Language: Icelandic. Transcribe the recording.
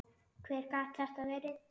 Hver gat þetta verið?